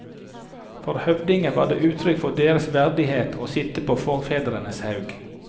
For høvdinger var det uttrykk for deres verdighet å sitte på forfedrenes haug.